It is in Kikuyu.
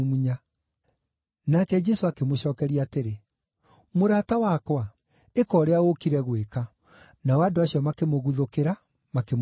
Nake Jesũ akĩmũcookeria atĩrĩ, “Mũrata wakwa, ĩka ũrĩa ũũkire gwĩka.” Nao andũ acio makĩmũguthũkĩra, makĩmũnyiita.